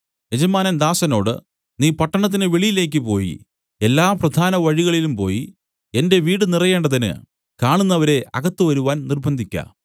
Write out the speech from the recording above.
യജമാനൻ ദാസനോട് നീ പട്ടണത്തിന് വെളിയിലേക്ക് പോയി എല്ലാ പ്രധാന വഴികളിലും പോയി എന്റെ വീടുനിറയേണ്ടതിന് കാണുന്നവരെ അകത്തുവരുവാൻ നിർബ്ബന്ധിക്ക